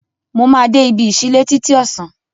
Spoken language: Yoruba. Mo máa de ibi ìsílẹ́ títí ọ̀sán